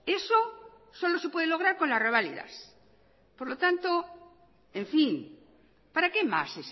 eso solo se puede lograr con las reválidas por lo tanto en fin para qué más